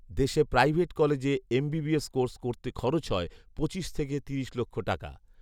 দেশে প্রাইভেট কলেজে MBBS course করতে খরচ হয় পঁচিশ থেকে তিরিশ লক্ষ টাকা